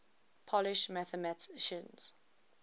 polish mathematicians